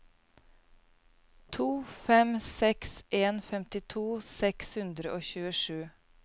to fem seks en femtito seks hundre og tjuesju